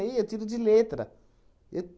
Aí eu tiro de letra. Eu